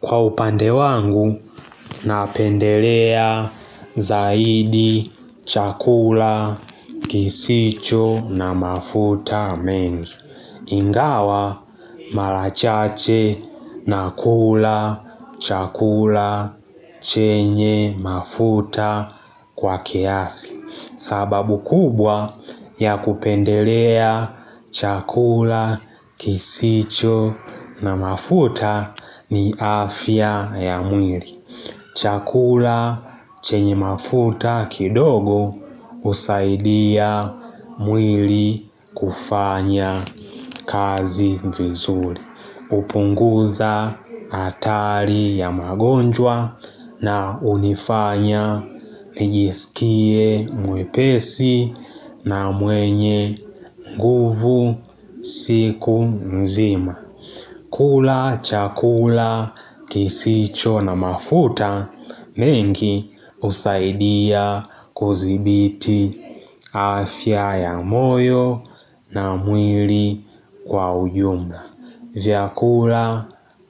Kwa upande wangu, napendelea, zaidi, chakula, kisicho na mafuta mengi. Ingawa, mala chache, nakula, chakula, chenye, mafuta kwa kiasi. Sababu kubwa ya kupendelea chakula, kisicho na mafuta ni afya ya mwiri. Chakula chenye mafuta kidogo husaidia mwiri kufanya kazi vizuri. Upunguza atari ya magonjwa na hunifanya nijisikie mwepesi na mwenye nguvu siku mzima. Kula, chakula, kisicho na mafuta mengi husaidia kuzibiti afya ya moyo na mwiri kwa uyumda. Vyakula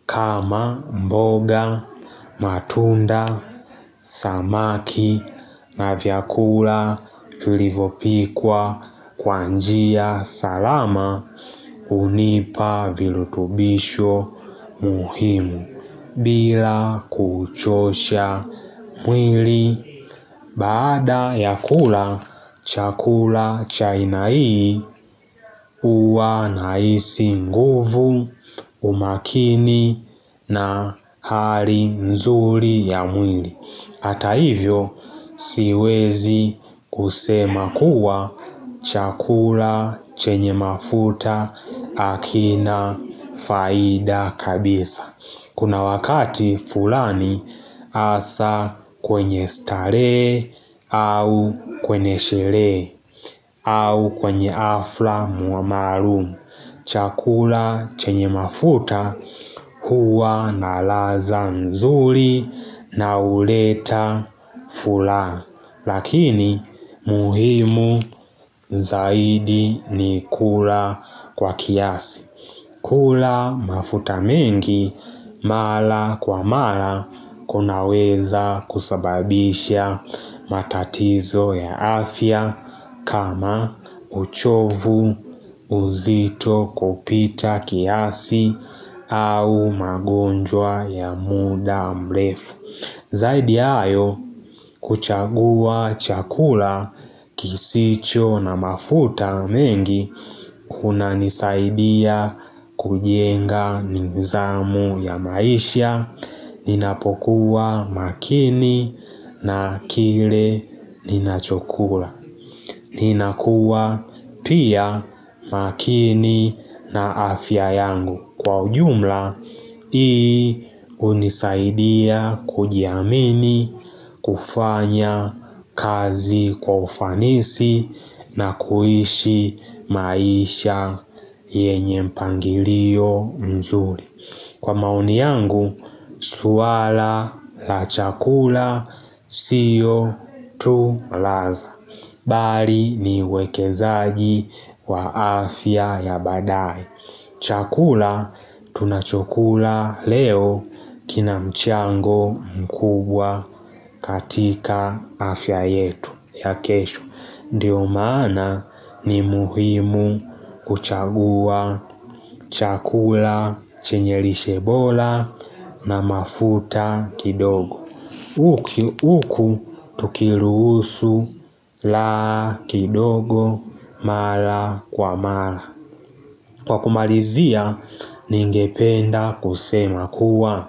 kama mboga matunda samaki na vyakula filivopikwa kwa njia salama hunipa vilutubisho muhimu bila kuchosha mwili. Baada ya kula chakula cha aina hii uwa nahisi nguvu umakini na hali nzuri ya mwili. Hata hivyo siwezi kusema kuwa chakula chenye mafuta akina faida kabisa. Kuna wakati fulani asa kwenye starehe au kwenye sherehe au kwenye afla maalumu. Chakula chenye mafuta huwa na laza mzuri na uleta fulaha. Lakini muhimu zaidi ni kula kwa kiasi. Kula mafuta mengi mala kwa mala kunaweza kusababisha matatizo ya afya kama uchovu uzito kupita kiasi au magonjwa ya muda mlefu. Zaidi ya hayo kuchagua chakula kisicho na mafuta mengi kunanisaidia kujenga nizamu ya maisha, ninapokuwa makini na kile ninachokula. Ninakua pia makini na afya yangu Kwa ujumla, ii unisaidia kujiamini kufanya kazi kwa ufanisi na kuhishi maisha yenye mpangilio mzuri Kwa maoni yangu, suwala la chakula siyo tu laza Bari ni wekezaji wa afya ya badae. Chakula, tunachokula leo kina mchango mkubwa katika afya yetu ya kesho. Ndiyo maana ni muhimu kuchagua chakula chenye lishe bola na mafuta kidogo. Uku tukiruusu laha kidogo mala kwa mala Kwa kumarizia ningependa kusema kuwa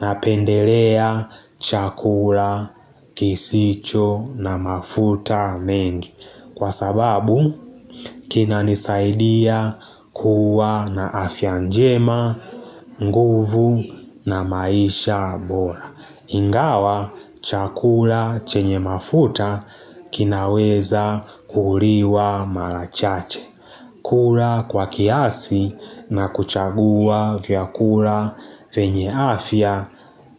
napendelea chakula, kisicho na mafuta mengi Kwa sababu kinanisaidia kuwa na afya njema, nguvu na maisha bora Ingawa chakula chenye mafuta kinaweza kuhuliwa mara chache kula kwa kiasi na kuchagua vyakula venye afya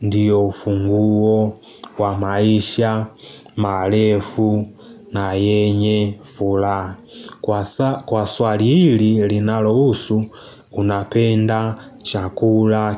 Ndiyo ufunguo wa maisha, malefu na yenye fulaha Kwa swali hili linalo usu unapenda chakula chenye mafuta.